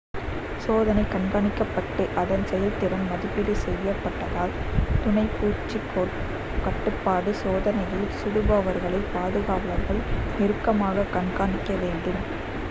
சோதனை கண்காணிக்கப்பட்டு அதன் செயல்திறன் மதிப்பீடு செய்யப்பட்டதால் துணை பூச்சி கட்டுப்பாடு சோதனையில் சுடுபவர்களை பாதுகாவலர்கள் நெருக்கமாக கண்காணிக்க வேண்டும்